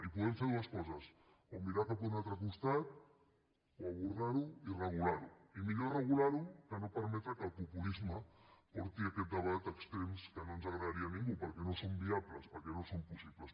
i podem fer dues coses o mirar cap a un altre costat o abordar ho i regular ho i millor regular ho que permetre que el populisme portés aquest debat a extrems que no ens agradarien a ningú perquè no són viables perquè no són possibles